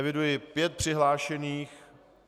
Eviduji pět přihlášených.